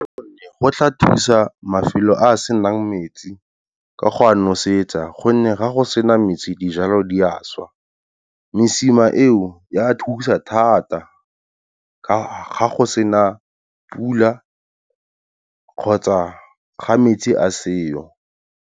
Gonne, go tla thusa mafelo a senang metsi ka go a nosetsa gonne ga go sena metsi dijalo di a šwa. Mesima eo a thusa thata, ka ga go sena pula kgotsa ga metsi a seo.